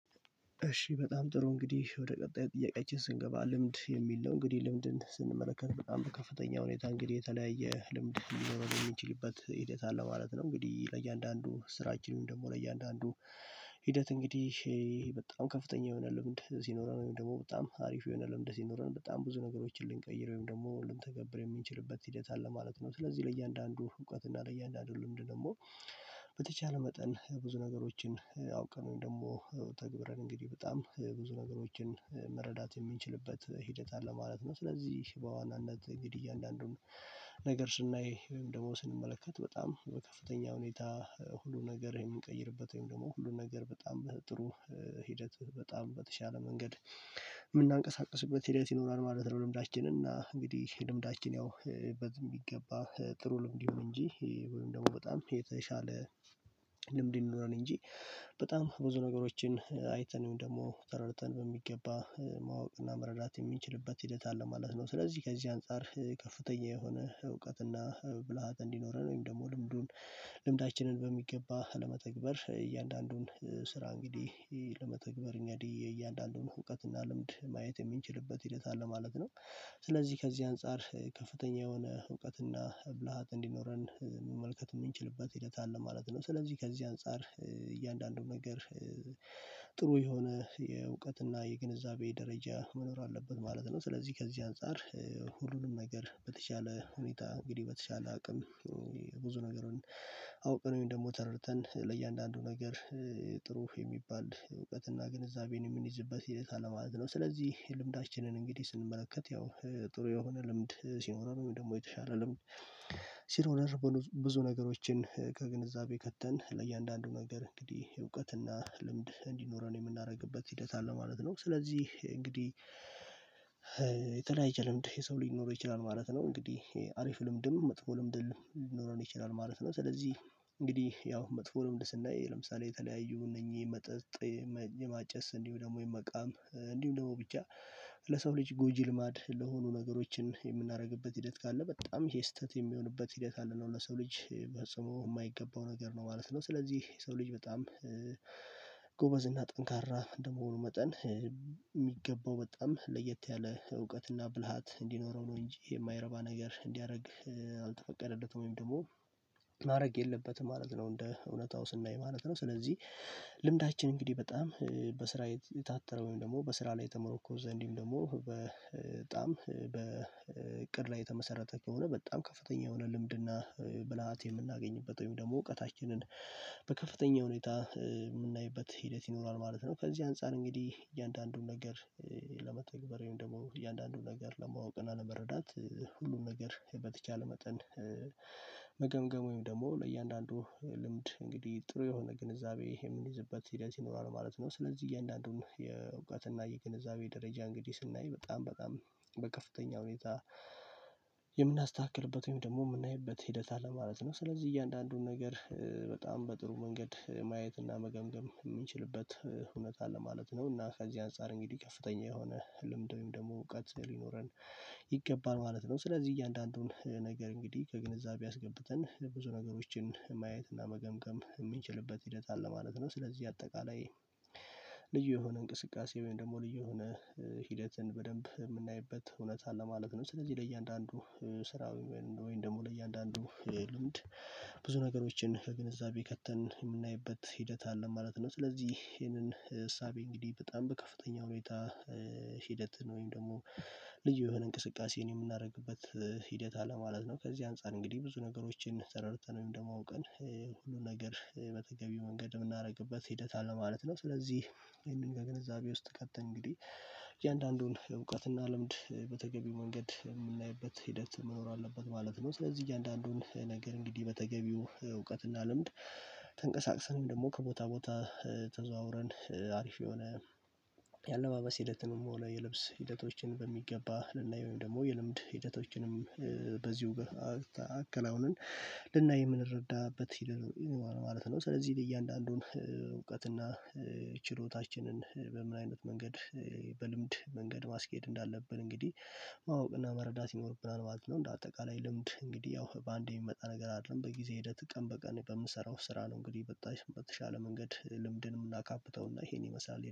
እሺ በጣም ጥሩ እንግዲህ ወደ ቀጣዩ ጥያቄያችን ስንገባ ልምድ የሚል ነው እንግዲህ ልምድን ስንመለከት በጣም በከፍተኛ ሁኔታ እንግዲህ የተለያየ ልምድ ሊኖርን የሚችልበት ሂደት አለ ማለት ነው። እንግዲህ ለእያንዳንዱ ስራችን ወይም ደግሞ ለእያንዳንዱ ሂደት እንግዲህ በጣም ከፍተኛ የሆነ ልምድ ስኖረን ወይም ደግሞ በጣም አሪፍ የሆነ ልምድ ሲኖረን በጣም ብዙ ነገሮችን ልንቀይር ወይም ደግሞ ልንተገብር የምንችልበት ሂደት አለ ማለት ነው። ስለዚህ ለእያንዳንዱ እውቀት እና ለእያንዳንዱ ልምድ ደግሞ በተቻለ መጠን ብዙ ነገሮችን አውቀን ደግሞ ተግብረን እንግዲህ በጣም ብዙ ነገሮችን መረዳት የምንችልበት ሂደት አለ ማለት ነው። ስለዚህ በዋናነት እንግዲህ እያንዳንዱን ነገር ስናይ ወይም ደግሞ ስንመለከት በጣም በከፍተኛ ሁኔታ ሁሉ ነገር የምንቀይርበት ወይም ደግሞ ሁሉ ነገር በጣም ጥሩ ሂደት በጣም በተቻለ መንገድ የምናንቀሳቅስበት ሂደት ይኖራል ማለት ነው። ልምዳችንና እንግዲህ ልምዳችን ያው በዝም የሚገባ ጥሩ ልምድ ይሁን እንጂ ወይም ደግሞ በጣም የተሻለ ልምድ ይኖረን እንጂ በጣም ብዙ ነገሮችን አይተን ደግሞ ተረድተን በሚገባ ማወቅና መረዳት የሚንችልበት ሂደት አለ ማለት ነው። ስለዚህ ከዚህ አንፃር ከፍተኛ የሆነ እውቀትና ብልሃት እንዲኖረን ወይም ደግሞ ልምዱን ልምዳችንን በሚገባ ለመተግበር እያንዳንዱን ስራ እንግዲህ ለመተግበር እንግድህ የእያንዳንዱን እውቀት እና ልምድ ማየት የምንችልበት ሂደት አለ ማለት ነው። ስለዚህ ከዚህ አንፃር ከፍተኛ የሆነ እውቀትና ብልሃት እንዲኖረን መመልከት የምንችልበት ሂደት አለ ማለት ነው። ስለዚህ ከዚህ አንፃር እያንዳንዱን ነገር ጥሩ የሆነ የእውቀት እና የግንዛቤ ደረጃ መኖር አለበት ማለት ነው። ስለዚህ ከዚህ አንፃር ሁሉንም ነገር በተቻለ ሁኔታ እንግዲህ በተቻለ አቅም ብዙ ነገር አውቀን ወይም ደግሞ ተረድተን ለእያንዳንዱ ነገር ጥሩ የሚባል እውቀትና ግንዛቤን የምንይዝበት ሕደት አለ ማለት ነው። ስለዚህ ልምዳችንን እንግዲህ ስንመለከት ያው ጥሩ የሆነ ልምድ ሲኖረን ወይም ደግሞ የተሻለ ልምድ ሲኖረን ብዙ ነገሮችን ከግንዛቤ ከተን ለእያንዳንዱ ነገር እንግዲህ እውቀትና ልምድ እንዲኖረን የምናደርግበት ሂደት አለ ማለት ነው። ስለዚህ እንግዲህ የተለያየ ልምድ የሰው ሊኖር ይችላል ማለት ነው። እንግዲህ አሪፍ ልምድም መጥፎ ልምድም ሊኖረን ይችላል ማለት ነው። ስለዚህ እንግዲህ ያው መጥፎ ልምድ ስናይ ለምሳሌ የተለያዩ እነኚህ መጠጥ የማጨስ እንዲሁ ደግሞ የመቃም እንዲሁ ደግሞ ብቻ ለሰው ልጅ ጎጂ ልማድ ለሆኑ ነገሮችን የምናደርግበት ሂደት ካለ በጣም ይሄ ስህተት የሚሆንበት ሂደት አለ ነው ለሰው ልጅ ፈጽሞ የማይገባው ነገር ነው ማለት ነው። ስለዚህ የሰው ልጅ በጣም እና ጠንካራ እንደመሆኑ መጠን የሚገባው በጣም ለየት ያለ እውቀትና ብልሃት እንዲኖረው ነው እንጂ የማይረባ ነገር እንዲያደርግ አልተፈቀደለትም ወይም ደግሞ ማድረግ የለበትም ማለት ነው። እንደ እውነታው ስናይ ማለት ነው። ስለዚህ ልምዳችን እንግዲህ በጣም በስራ የታጠረ ወይም ደግሞ በስራ ላይ የተመረኮዘ እንድሁም ደግሞ በጣም በእቅድ ላይ የተመሰረተ ከሆነ በጣም ከፍተኛ የሆነ ልምድና ብልሃት የምናገኝበት ወይም ደግሞ እውቀታችንን በከፍተኛ ሁኔታ የምናይበት ሂደት ይኖራል ማለት ነው። ከዚህ አንፃር እንግዲህ እያንዳንዱን ነገር ለመተግበር ወይም ደግሞ እያንዳንዱን ነገር ለማወቅ እና ለመረዳት ሁሉን ነገር በተቻለ መጠን መገምገም ደግሞ ለእያንዳንዱ ልምድ እንግዲህ ጥሩ የሆነ ግንዛቤ የምንይዝበት ሂደት ይኖራል ማለት ነው። ስለዚህ እያንዳንዱን የእውቀትና የግንዛቤ ደረጃ እንግዲህ ስናይ በጣም በጣም በከፍተኛ ሁኔታ የምናስተካክልበት ወይም ደግሞ የምናይበት ሂደት አለ ማለት ነው። ስለዚህ እያንዳንዱን ነገር በጣም በጥሩ መንገድ ማየትና መገምገም የምንችልበት እውነት አለ ማለት ነው። እና ከዚህ አንፃር እንግዲህ ከፍተኛ የሆነ ልምድ ወይም ደግሞ እውቀት ሊኖረን ይገባል ማለት ነው። ስለዚህ እያንዳንዱን ነገር እንግዲህ ከግንዛቤ አስገብተን ብዙ ነገሮችን ማየት እና መገምገም የሚችልበት ሂደት አለ ማለት ነው። ስለዚህ አጠቃላይ ልዩ የሆነ እንቅስቃሴ ወይም ደግሞ ልዩ የሆነ ሂደትን በደንብ የምናይበት እውነት አለ ማለት ነው። ስለዚህ ለእያንዳንዱ ስራ ወይም ደግሞ ለእያንዳንዱ ልምድ ብዙ ነገሮችን ከግንዛቤ ከተን የምናይበት ሂደት አለ ማለት ነው። ስለዚህ ይሄንን እሳቤ እንግዲህ በጣም በከፍተኛው ሁኔታ ሂደት ወይም ደግሞ ልዩ የሆነ እንቅስቃሴ የምናደርግበት ሂደት አለ ማለት ነው። ከዚህ አንፃር እንግዲህ ብዙ ነገሮችን ተረድተን ወይም ደግሞ አውቀን ሁሉ ነገር በተገቢው መንገድ የምናደርግበት ሂደት አለ ማለት ነው። ስለዚህ ይሄንን ከግንዛቤ ውስጥ ከተን እንግዲህ እያንዳንዱን እውቀትና ልምድ በተገቢው መንገድ የምናይበት ሂደት መኖር አለበት ማለት ነው። ስለዚህ እያንዳንዱን ነገር እንግዲህ በተገቢው እውቀትና ልምድ ተንቀሳቅሰን ወይም ደግሞ ከቦታ ቦታ ተዘዋውረን አሪፍ የሆነ የአለባበስ ሂደትንም ሆነ የልብስ ሂደቶችን በሚገባ ልናየው ወይም ደግሞ የልምድ ሂደቶችንም በዚሁ ጋር አከናውነን ልናይ የምንረዳበት ማለት ነው። ስለዚህ ለእያንዳንዱን እውቀትና ችሎታችንን በምን አይነት መንገድ በልምድ መንገድ ማስኬድ እንዳለብን እንግዲህ ማወቅና መረዳት ይኖርብናል ማለት ነው። እንደ አጠቃላይ ልምድ እንግዲህ ያው በአንዴ የሚመጣ ነገር አይደለም በጊዜ ሂደት ቀን በቀን በምንሰራው ስራ ነው። እንግዲህ በተሻለ መንገድ ልምድን ምናካብተውና ይሄን ይመሳለል